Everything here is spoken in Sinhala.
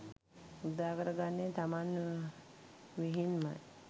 උදාකර ගන්නේ තමන් විහින්මයි.